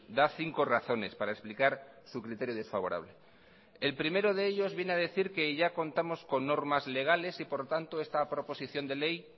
da cinco razones para explicar su criterio desfavorable el primero de ellos viene a decir que ya contamos con normas legales y por lo tanto esta proposición de ley